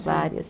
Várias.